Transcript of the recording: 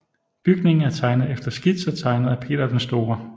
Bygningen er tegnet efter skitser tegnet af Peter den Store